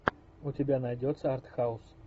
у тебя найдется артхаус